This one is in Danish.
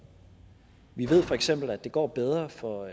vi ved feks at det går bedre for